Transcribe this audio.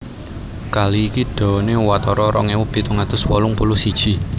Kali iki dawané watara rong ewu pitung atus wolung puluh siji